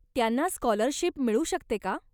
त्यांना स्कॉलरशिप मिळू शकते का?